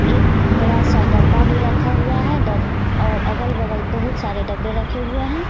एक बड़ा सा डब्बा भी रखा हुआ है डब और अगल बगल बहुत सारे डब्बे रखे हुए हैं।